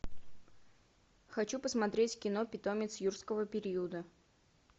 хочу посмотреть кино питомец юрского периода